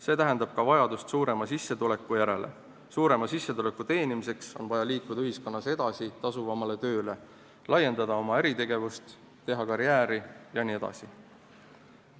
See tähendab vajadust suurema sissetuleku järele, suurema sissetuleku teenimiseks on aga vaja liikuda ühiskonnas edasi tasuvamale tööle, laiendada oma äritegevust, teha karjääri jne.